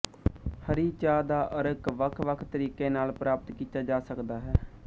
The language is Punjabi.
ਹਰੀ ਚਾਹ ਦਾ ਅਰਕ ਵੱਖਵੱਖ ਤਰੀਕਿਆਂ ਨਾਲ ਪ੍ਰਾਪਤ ਕੀਤਾ ਜਾ ਸਕਦਾ ਹੈ